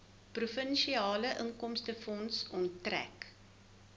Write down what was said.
provinsiale inkomstefonds onttrek